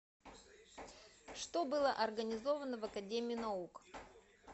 что было организовано в академии наук